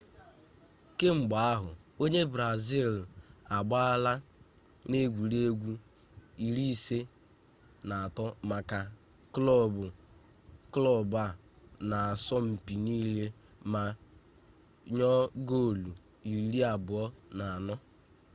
kemgbe ahụ onye brazil a agbaala n'egwuregwu 53 maka klọb a n'asọmpi niile ma yọọ gol 24